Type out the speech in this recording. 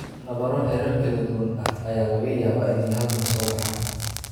Nabaro heerar kala duwan ah ayaa laga yaabaa inay hal mar soo baxaan.